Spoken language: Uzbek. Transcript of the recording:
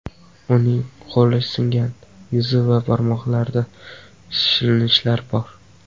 Uning qo‘li singan, yuzi va barmoqlarida shilinishlar bor.